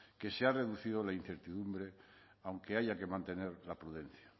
que se ha reducido la incertidumbre aunque haya que mantener la prudencia